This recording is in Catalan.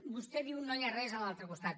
vostè diu no hi ha res a l’altre costat